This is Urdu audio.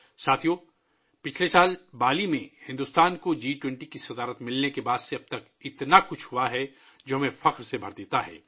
ساتھیوں، جب سے بھارت نے گزشتہ سال بالی میں جی 20 کی صدارت سنبھالی ہے، اتنا کچھ ہوا ہے کہ اس پر ہمیں فخر محسوس ہوتا ہے